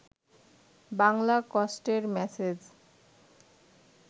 বাংলা কষ্টের মেসেজ